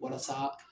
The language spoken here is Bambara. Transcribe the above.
Walasa